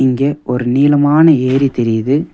இங்க ஒரு நீளமான ஏரி தெரியிது.